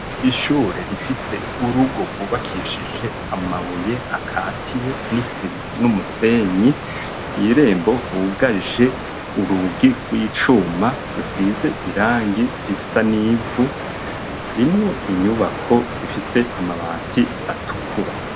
Ishure rifise urugo rwubakishije amabuye akatiye n'isima n'umusenyi, kw'irembo hugaje urugi rw'icuma rusize irangi risa n'ivu, harimwo inyubako zifise amabati atukura.